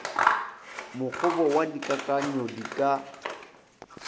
mokgobo wa dikakanyo di ka